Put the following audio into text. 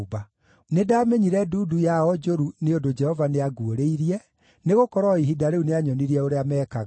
Nĩndamenyire ndundu yao njũru nĩ ũndũ Jehova nĩanguũrĩirie, nĩgũkorwo o ihinda rĩu nĩanyonirie ũrĩa meekaga.